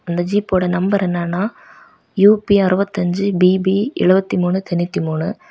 அந்த ஜீப்போட நம்பர் என்னன்னா யூ_பி அறுபத்து அஞ்சு பி_பி எழுப்பத்தி மூணு தொண்ணூத்தி மூணு.